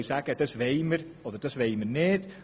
Das wollen wir und das nicht.